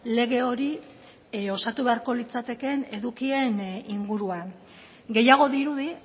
lege hori osatu beharko litzatekeen edukien inguruan gehiago dirudi